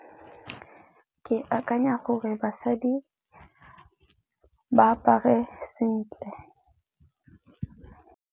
Ke akanya gore basadi ba apare sentle.